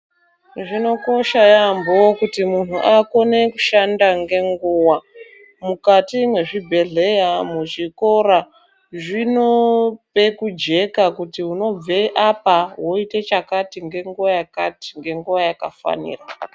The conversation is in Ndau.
Zvinokosha yambo kuti munhu akone kushanda ngenguwa mukati mwezvibhedhlera, muzvikora zvinope kujeka kuti unobve apa woite chakati ngenguwa yakati ngenguwa yakafanira